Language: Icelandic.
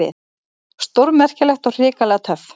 Stórmerkilegt og hrikalega töff.